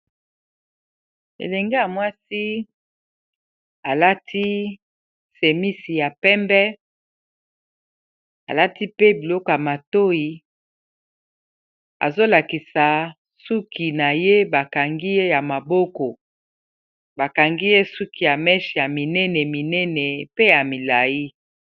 Elenge ya mwasi alati semisi ya pembe alati pe biloko ya matoi azolakisa suki na ye bakangiy ya maboko bakangi ye suki ya meshe ya minene minene pe ya milai.